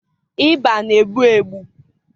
ịba na-egbu egbu